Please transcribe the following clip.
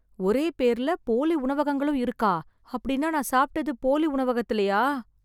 ஒரே பேர்ல போலி உணவகங்களும் இருக்கா? அப்படின்னா நான் சாப்பிட்டது போலி உணவகத்துலயா?